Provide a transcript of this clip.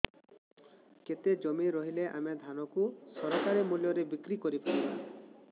କେତେ ଜମି ରହିଲେ ଆମେ ଧାନ କୁ ସରକାରୀ ମୂଲ୍ଯରେ ବିକ୍ରି କରିପାରିବା